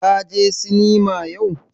Ka je sinima yau?